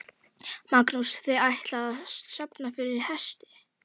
Magnús: Þið ætlið að safna fyrir hesti?